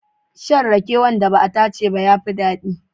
Shan rake wanda ba a tace ba ya fi daɗi.